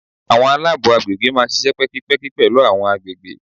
Àwọn alabo àgbègbè máa ń ṣíṣe pẹ́kípẹ́kí pẹ̀lú àwọn àgbègbè.